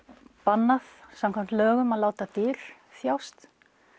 bannað samkvæmt lögum að láta dýr þjást